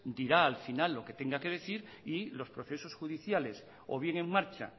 dirá al final lo que tenga que decir y los procesos judiciales o bien en marcha